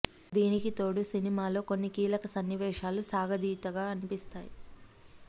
దీనికి తోడు సినిమాలో కొన్ని కీలక సన్నివేశాలు సాగతీతగా అనిపిస్తాయి